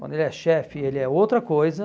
Quando ele é chefe, ele é outra coisa.